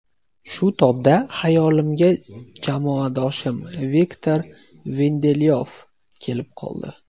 Shu tobda xayolimga jamoadoshim Viktor Lindelyof kelib qoldi.